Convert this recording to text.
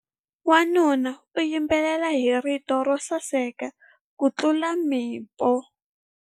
Wanuna u yimbelela hi rito ro saseka kutlula mpimo.